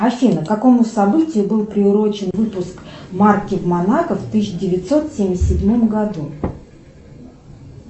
афина к какому событию был приурочен выпуск марки в монако в тысяча девятьсот семьдесят седьмом году